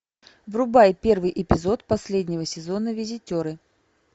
врубай первый эпизод последнего сезона визитеры